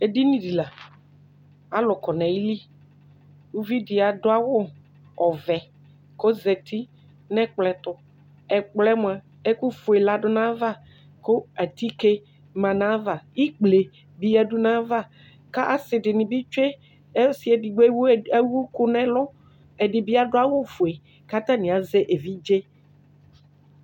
edini di la alò kɔ n'ayili uvi di adu awu ɔvɛ k'ozati n'ɛkplɔ ɛto ɛkplɔɛ moa ɛkufue la du n'ava kò atike ma n'ava ikple bi ya du n'ava k'asi di ni bi tsue ɔsi edigbo ewu ɛkò n'ɛlu ɛdi bi adu awu fue k'atani azɛ evidze.